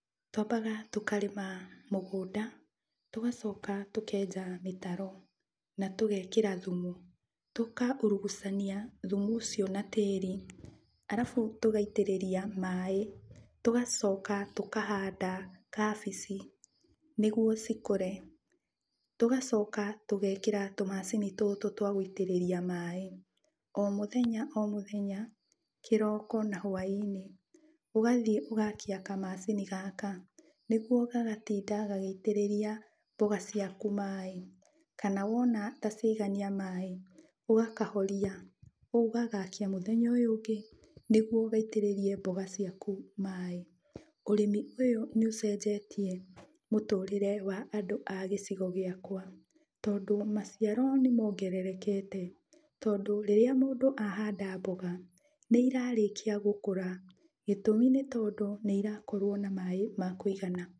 Twambaga tũkarĩma mũgũnda, tũgacoka tũkenja mĩtaro na tũgekĩra thumu. Tũkaurugucania thumu ũcio na tĩri, alafu tũgaitĩrĩria maĩ. Tũgacoka tũkahanda kabici nĩguo cikũre. Tũgacoka tũgekĩra tũmacini tũtũ twa gũitĩrĩria maĩ. O mũthenya o mũthenya kĩroko na hwainĩ, ũgathiĩ ũgakia kamacini gaka, nĩguo gagatinda gagĩitĩrĩria mboga ciaku maĩ, kana wona ta ciaigania maĩ, ũgakahoria ũgagakia mũthenya ũyũ ũngĩ, nĩguo gaitĩrĩrie mboga ciaku maĩ. Ũrĩmi ũyũ nĩũcenjetie mũtũrĩre wa andũ a gĩcigo gĩakwa, tondũ maciaro nĩmongererekete tondũ rĩrĩa mũndũ a handa mboga, nĩirarĩkia gũkũra, gĩtũmi nĩ tondũ nĩirakorwo na maĩ ma kũigana.